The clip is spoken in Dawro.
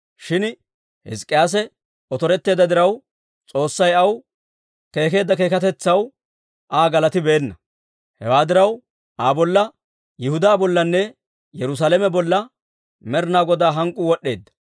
Shin Hizk'k'iyaase otoretteedda diraw, S'oossay aw keekeedda keekkatetsaw Aa galatibeenna. Hewaa diraw, Aa bolla, Yihudaa bollanne Yerusaalame bolla Med'inaa Godaa hank'k'uu wod'd'eedda.